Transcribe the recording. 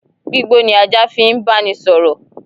Gbigbo ni ajá fi n banisọ̀rọ̀.